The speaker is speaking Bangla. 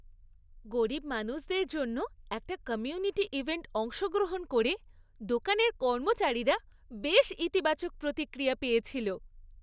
গরীব মানুষদের জন্য একটা কমিউনিটি ইভেন্টে অংশগ্রহণ করে দোকানের কর্মচারীরা বেশ ইতিবাচক প্রতিক্রিয়া পেয়েছিল।